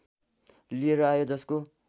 लिएर आयो जसको